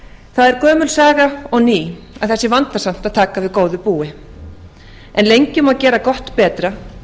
það er gömul saga og ný að það sé vandasamt að taka við góðu búi en lengi má geta gott betra